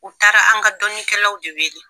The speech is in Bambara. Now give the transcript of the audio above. U taara an ka dɔni kɛlaw de wele.